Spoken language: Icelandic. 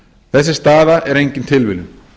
þessi staða er engin tilviljun